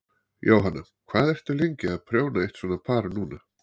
Jóhanna: Hvað ertu lengi að prjóna eitt svona par núna?